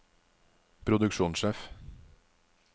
produksjonssjef